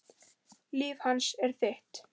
Líf hans er þitt.